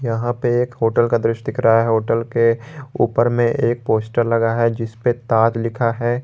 यहां पे एक होटल का दृश्य दिखा रहा है होटल के ऊपर में एक पोस्टर लगा है जिस पे ताज लिखा है।